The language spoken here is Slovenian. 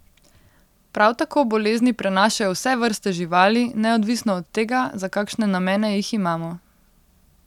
Prav tako bolezni prenašajo vse vrste živali, neodvisno od tega, za kakšne namene jih imamo.